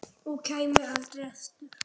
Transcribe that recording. Og kæmi aldrei aftur.